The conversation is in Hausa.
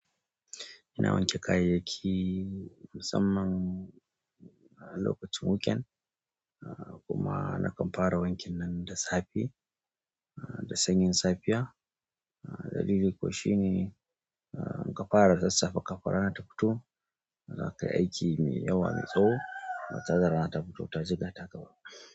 Ina wanke kayayyaki musamman lokacin wuken kuma na kampara wankin nan da safi, da sanyin safiya. Dalili ko shine in ka fara da sassafe kafin rana ta fito zaka yi aiki mai yawa mai tsawo ba tare da rana ta fito ta jigata ka ba.